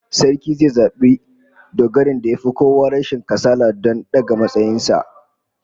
Sarki zai zabi dogarin da yafi kowa rashin kasala don daga matsayin sa